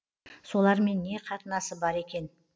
солармен не қатынасы бар екен